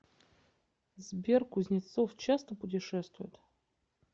сбер кузнецов часто путешествует